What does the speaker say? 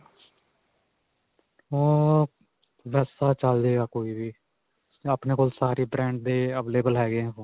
ਅਅ ਤਾਂ ਚੱਲ ਜਾਵੇਗਾ ਕੋਈ ਵੀ. ਆਪਣੇ ਕੋਲ ਸਾਰੇ brands ਦੇ available ਹੈਗੇ ਹੈ phone.